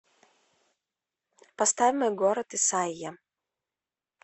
поставь мой город исайя